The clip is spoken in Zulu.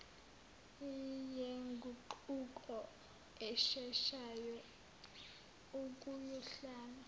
yenguquko esheshayo ukuyohlala